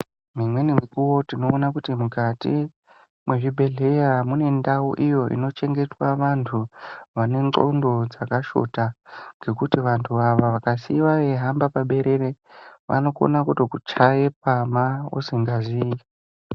Mumweni mukuwo tinoona kuti mukati mwezvibhedhleya, mune ndau iyo inochengetwa vantu vane ndxondo dzakashota, ngekuti vantu ava vakasiyiwa veyihamba paberere, vanokona kutokuchaye pama usingaziyi.